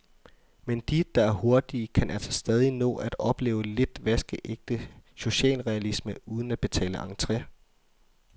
Men de, der er hurtige, kan altså stadig nå at opleve lidt vaskeægte socialrealisme, uden at betale entre.